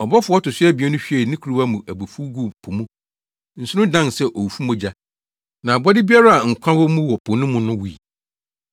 Ɔbɔfo a ɔto so abien no hwiee ne kuruwa mu abufuw guu po mu. Nsu no dan sɛ owufo mogya, na abɔde biara a nkwa wɔ mu wɔ po no mu no wui.